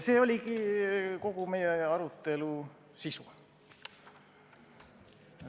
See oligi kogu meie arutelu sisu.